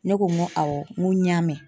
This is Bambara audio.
Ne ko n ko awɔ n ko n y'a mɛn.